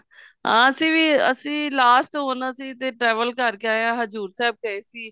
ਅਸੀਂ ਵੀ ਅਸੀਂ last ਹੁਣ ਅਸੀਂ ਹੁਣ travel ਕਰਕੇ ਆਏ ਹਾਂ ਹਜੂਰ ਸਾਹਿਬ ਗਏ ਸੀ